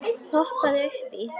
Hoppaðu upp í.